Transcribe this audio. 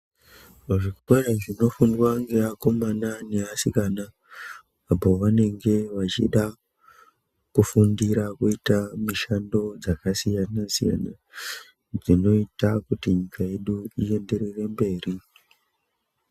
Muzvikora zvinofundwa neakomana neasikana apo pavanenge vachida kufundira kuita mushando dzakasiyana siyana dzinoita kuti nyika yedu ienderere mberi